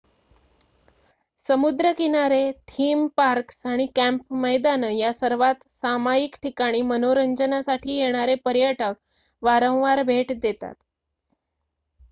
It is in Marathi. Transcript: समुद्र किनारे थीम पार्क्स आणि कँप मैदानं या सर्वात सामायिक ठिकाणी मनोरंजनासाठी येणारे पर्यटक वारंवार भेट देतात